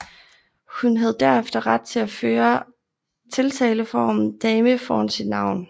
Hun havde derefter ret til at føre tiltaleformen Dame foran sit navn